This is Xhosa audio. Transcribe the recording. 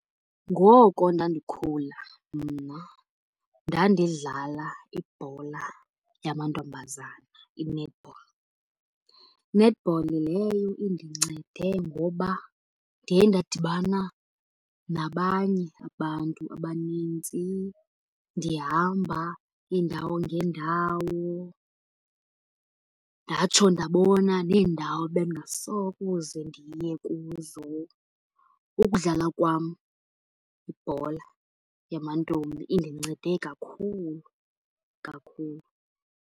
Ngoko ndandikhula mna ndandidlala ibhola yamantombazana, i-netball. Netball leyo indincede ngoba ndiye ndadibana nabanye abantu abanintsi, ndihamba iindawo ngeendawo, ndatsho ndabona neendawo bendingasokuze ndiye kuzo. Ukudlala kwam ibhola yamantombi indincede kakhulu, kakhulu.